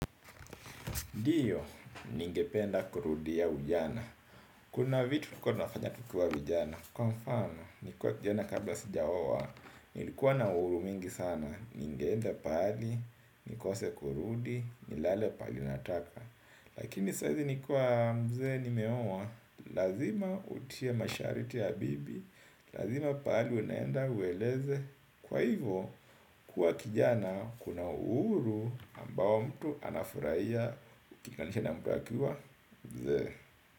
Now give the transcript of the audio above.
Ndiyo, ningependa kurudiya ujana. Kuna vitu tulikuwa tunafanya tukiwa vijana. Kwa mfano, nikiwa kijana kabla sijaoa nilikuwa na uhuru mingi sana, ningeenda pahali, nikose kurudi, nilale pahali nataka. Lakini saizi nikiwa mzee nimeoa. Lazima utie masharti ya bibi. Lazima pahali unaenda ueleze. Kwa hivo, kuwa kijana kuna uhuru ambao mtu anafurahiya kulinganisha na mtu akiwa mzee.